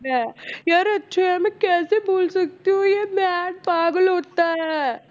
ਲੈ ਯਾਰ ਮੈਂ ਕੈਸੇ ਬੋਲ ਸਕਤੀ ਪਾਗਲ ਹੋਤਾ ਹੈ